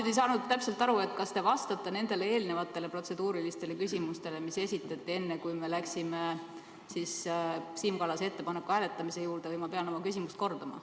Ma ei saanud nüüd täpselt aru, kas te vastate nendele eelnevatele protseduurilistele küsimustele, mis esitati enne, kui me läksime Siim Kallase ettepaneku hääletamise juurde, või ma pean oma küsimust kordama.